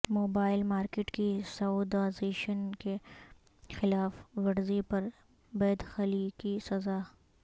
mobile market کی Saudization کی خلاف ورزی پر بیدخلی کی سزا